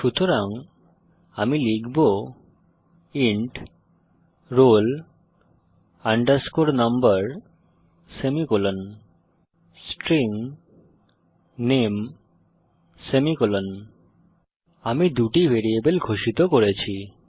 সুতরাং আমি লিখব int roll underscore number semicolon string নামে সেমিকোলন আমি দুটি ভ্যারিয়েবল ঘোষিত করেছি